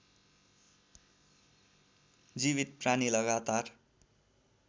जीवित प्राणी लगातार